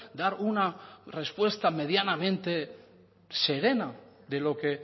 dar una respuesta medianamente serena de lo que